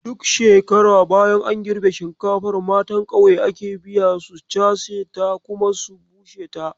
Duk shekara bayan an girbe shinkafar, matan kauye ake biya su cashe ta kuma su bushe ta.